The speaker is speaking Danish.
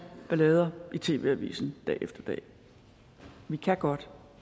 ballade i tv avisen dag efter dag vi kan godt